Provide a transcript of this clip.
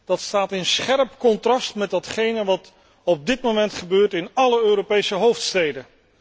Dat staat in scherp contrast met datgene wat op dit moment gebeurt in alle Europese hoofdsteden.